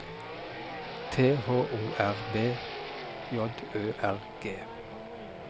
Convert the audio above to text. T H O R B J Ø R G